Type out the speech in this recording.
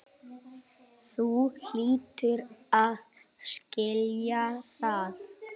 Þú hlýtur að skilja það.